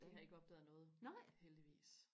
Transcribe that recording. de har ikke opdaget noget heldigvis